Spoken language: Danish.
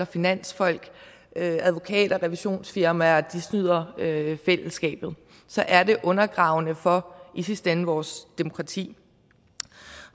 finansfolk advokater revisionsfirmaer snyder fællesskabet så er det undergravende for i sidste ende vores demokrati